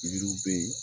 Yiriw bɛ yen